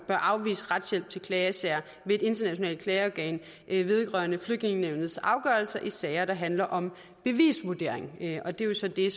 bør afvise retshjælp til klagesager ved et internationalt klageorgan vedrørende flygtningenævnets afgørelser i sager der handler om bevisvurdering og det er jo så det